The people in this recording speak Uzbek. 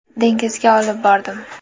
Dengizga olib bordim.